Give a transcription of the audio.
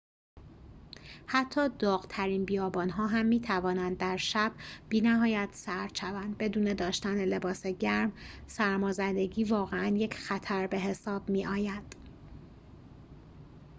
حتی داغ‌ترین بیابان‌ها هم می‌توانند در شب بی‌نهایت سرد شوند بدون داشتن لباس گرم سرمازدگی واقعاً یک خطر به‌حساب می‌آید